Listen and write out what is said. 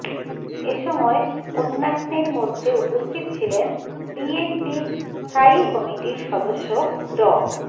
এ সময় অন্যান্যের মধ্যে উপস্থিত ছিলেন বিএনপির স্থায়ী কমিটির সদস্য ড